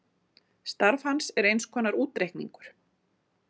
Starf hans er eins konar útreikningur